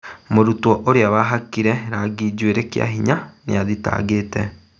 Mũrutwo ũria wahakire rangi njuĩrĩ kiahinya nĩathitangĩte